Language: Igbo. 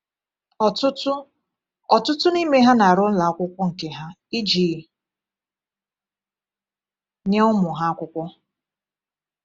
Ọtụtụ Ọtụtụ n’ime ha na-arụ ụlọ akwụkwọ nke ha iji nye ụmụ ha akwụkwọ.